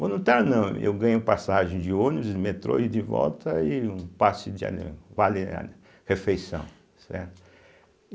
Voluntário não, eu ganho passagem de ônibus, de metrô ida e volta, e um passe de ali vale ali, refeição, certo.